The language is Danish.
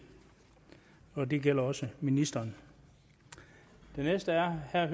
og det gælder også ministeren den næste er herre